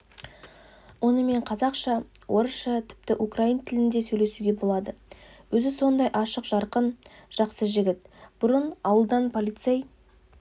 онымен қазақша орысша тіпті украин тілінде сөйлесуге болады өзі сондай ашық-жарқын жақсы жігіт бұрын ауылдан полицей